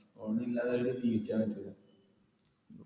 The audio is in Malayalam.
phone ഇല്ലാതെ അവർക്ക് ജീവിക്കാൻ പറ്റൂല